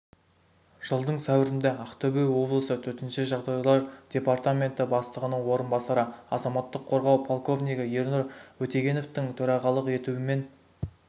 жылдың сәуірінде ақтөбе облысы төтенше жағдайлар департаменті бастығының орынбасары азаматтық қорғау полковнигі ернұр өтегеновтың төрағалық етуімен